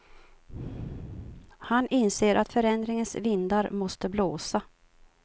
Han inser att förändringens vindar måste blåsa.